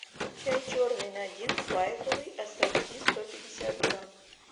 чай черный надин байховый ассорти сто пятьдесят грамм